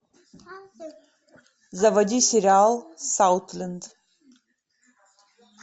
заводи сериал саутленд